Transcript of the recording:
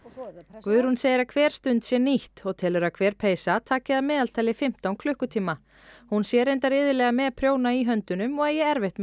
Guðrún segir að hver stund sé nýtt og telur að hver peysa taki að meðaltali fimmtán klukkutíma hún sé reyndar iðulega með prjóna í höndunum og eigi erfitt með